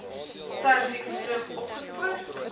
serviks vroeg opgespoor